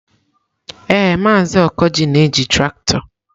Ee, Maazị Okoji na-eji traktọ.